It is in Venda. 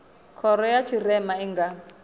khoro ya tshirema i nga